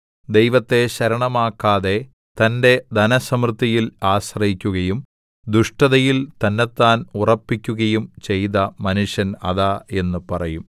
ദൈവത്തെ ശരണമാക്കാതെ തന്റെ ധനസമൃദ്ധിയിൽ ആശ്രയിക്കുകയും ദുഷ്ടതയിൽ തന്നെത്താൻ ഉറപ്പിക്കുകയും ചെയ്ത മനുഷ്യൻ അതാ എന്ന് പറയും